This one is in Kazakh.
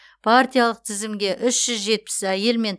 партиялық тізімге үш жүз жетпіс әйел мен